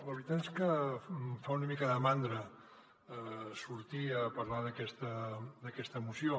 la veritat és que em fa una mica de mandra sortir a parlar d’aquesta moció